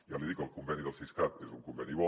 ja li dic que el conveni del siscat és un conveni bo